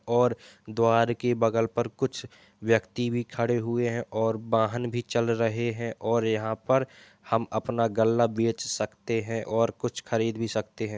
और द्वार के बगल पर कुछ व्यक्ति भी खड़े हुए हैं और वाहन भी चल रहे हैं और यहाँ पर हम अपना गल्ला बेच भी सकते हैं और कुछ खरीद भी सकते हैं।